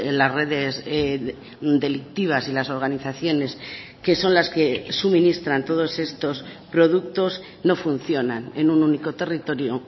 las redes delictivas y las organizaciones que son las que suministran todos estos productos no funcionan en un único territorio